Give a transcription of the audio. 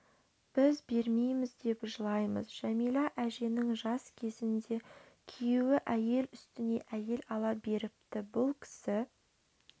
біз бермейміз деп жылаймыз жәмилә әженің жас кезінде күйеуі әйел үстіне әйел ала беріпті бұл кісі